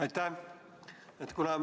Aitäh!